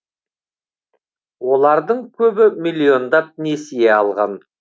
олардың көбі миллиондап несие алған